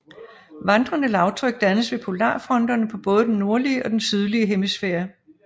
Vandrende lavtryk dannes ved polarfronterne på både den nordlige og den sydlige hemisfære